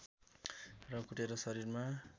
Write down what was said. र कुटेर शरीरमा